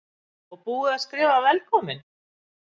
Og búið að skrifa VELKOMIN!